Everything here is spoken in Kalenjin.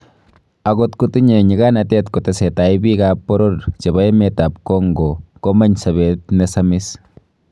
Agot kotinye nyiganatet kotesetai biik ab boror chebo emet ab Congo komeny' sobeet nesasim.